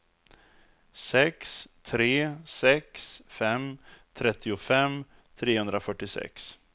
sex tre sex fem trettiofem trehundrafyrtiosex